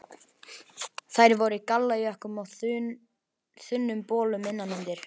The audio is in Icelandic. Þær voru í gallajökkum og þunnum bolum innan undir.